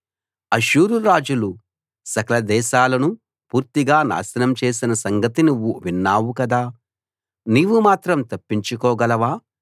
అష్షూరు రాజులు సకల దేశాలనూ పూర్తిగా నాశనం చేసిన సంగతి నువ్వు విన్నావు కదా నీవు మాత్రం తప్పించుకోగలవా